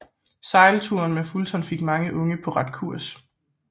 Sejlturen med Fulton fik mange unge på ret kurs